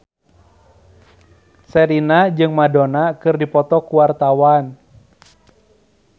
Sherina jeung Madonna keur dipoto ku wartawan